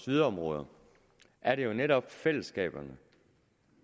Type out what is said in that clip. yderområder er det jo netop fællesskaberne